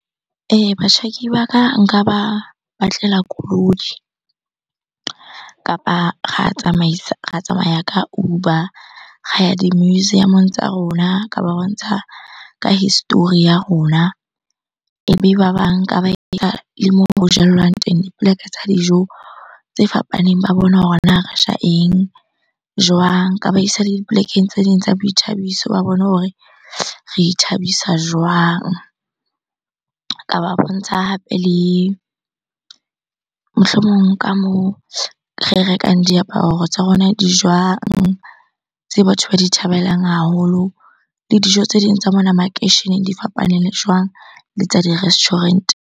Ee, batjhaki ba ka nka ba batlela koloi kapa ra tsamaisa, ra tsamaya ka Uber ra ya di-museum-ong tsa rona. Ka ba bontsha ka history ya rona, ebe ba le mo ho jellwang teng, dipoleke tsa dijo tse fapaneng ba bone hore na re ja eng? Jwang? Nka ba isa le dipolekeng tse ding tsa boithabiso, ba bone hore re ithabisa jwang? Ka ba bontsha hape le, mohlomong ka moo re rekang diaparo tsa rona di jwang? Tse batho ba di thabelang haholo le dijo tse ding tsa mona makeisheneng di fapane le jwang le tsa di-restaurant.